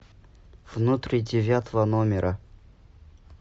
внутри девятого номера